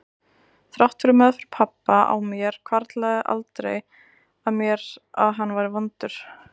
Þrátt fyrir meðferð pabba á mér hvarflaði aldrei að mér að hann væri vondur.